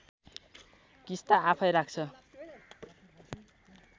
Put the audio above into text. किस्ता आफैँ राख्छ